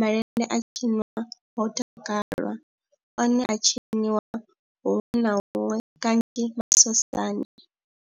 malende a tshinwa ho takalwa, one a a tshiniwa huṅwe na huṅwe kanzhi masosani.